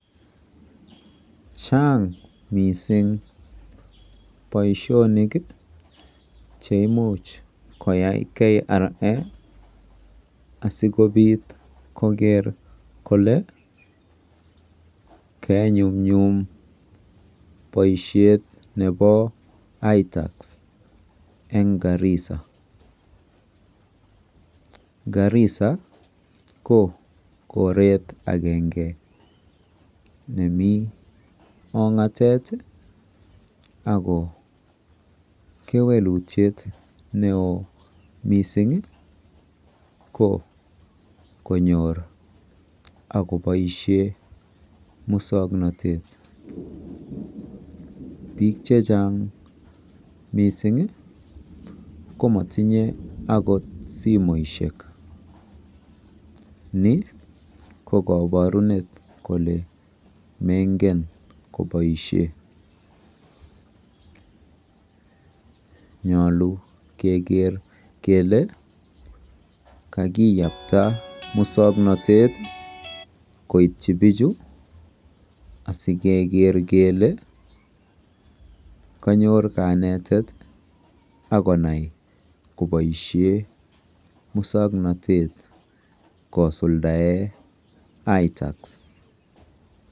Chaang mising boisionik cheimuch koyayai KRA asikoker kole kenyumnyum boisiet nebo ITAX eng Garissa. Garissa ko koret agenge nemi ong'atet ako kewelutiet neo mising ko konyor ak koboisie muswoknatet. Biik chechang komotinye akot simoishek. Ni ko koborunet kole mengen koboisie. Nyolu keker kele kakiyapta muswoknotet koitchi biichu asikeker kele kanyor kanetet akonai koboisie muswoknotet kosuldae ITAX.